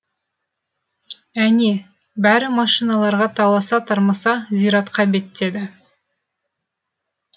әне бәрі машиналарға таласа тармаса зиратқа беттеді